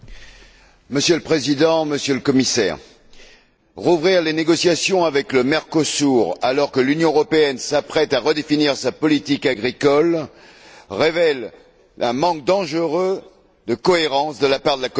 Monsieur le Président, Monsieur le Commissaire, rouvrir les négociations avec le Mercosur, alors que l'Union européenne s'apprête à redéfinir sa politique agricole, révèle un manque dangereux de cohérence de la part de la Commission.